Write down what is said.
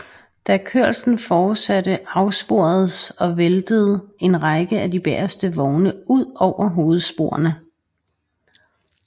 Da kørslen fortsatte afsporedes og væltede en række af de bageste vogne ud over hovedsporene